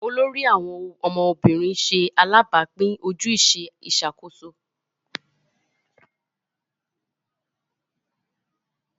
olórí àwọn ọmọ obìrin ṣe alabapin ojúṣe Ìṣàkóso